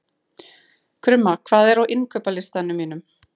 Krumma, hvað er á innkaupalistanum mínum?